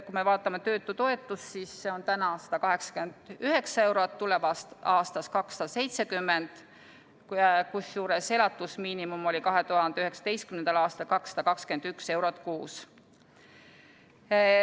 Kui me vaatame töötutoetust, siis see on täna 189 eurot, tulevast aastast 270, kusjuures elatusmiinimum oli 2019. aastal 221 eurot kuus.